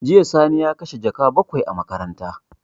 Jiya Sani ya kashe jaka bakwai a makaranta.